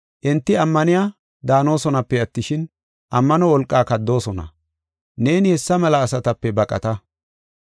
Enti ammaniya daanosonape attishin, ammano wolqaa kaddoosona; neeni hessa mela asatape baqata.